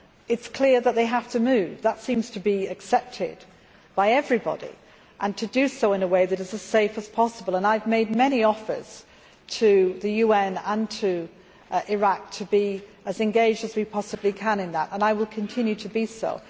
It is clear that they have to move that seems to be accepted by everybody and to do so in a way that is as safe as possible. I have made many offers to the UN and to Iraq to be as engaged as we possibly can in that and I will continue to do so.